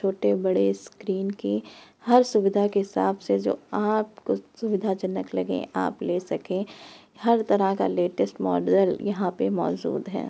छोटे बड़े स्क्रीन की हर सुविधा के हिसाब से जो आपको सुविधाजनक लगे आप ले सके हर तरह का लेटेस्ट मोडल यहाँ पे मौजूद है।